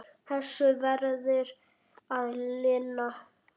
Þessu verður að linna.